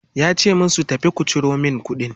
yace musu "tafi ku Ciro min kuɗin!"